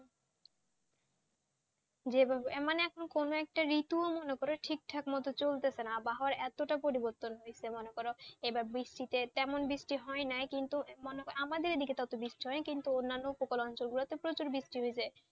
যে ভাবে মানে কোনো একটা ঋতু মনো করো ঠিক ঠাক থাক ভাবে চলছে না আবহাওয়া এতটা পরিবতন হচ্ছে মনো করো এবার বৃষ্টিতে তেমনবৃষ্টি হয় না কিন্তু আমাদের এখানে এত বৃষ্টি হয়নি কিন্তু অন্যান্যউপকূল অঞ্চলে প্রচুর বৃষ্টি হয়েছে